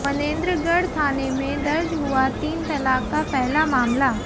मनेंद्रगढ़ थाने में दर्ज हुआ तीन तलाक का पहला मामला